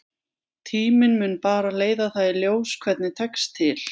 Tíminn mun bara leiða það í ljós hvernig tekst til.